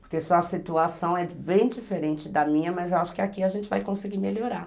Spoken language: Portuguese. Porque sua situação é bem diferente da minha, mas eu acho que aqui a gente vai conseguir melhorar.